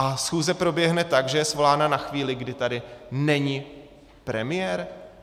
A schůze proběhne tak, že je svolána na chvíli, kdy tady není premiér?